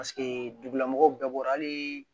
Paseke dugulamɔgɔw bɛɛ bɔra hali